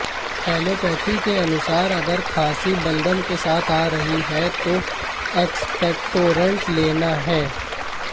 allopathy के अनुसार अगर खांसी बलगम के साथ आ रही है तो एक्सपेक्टोरेंट लेना है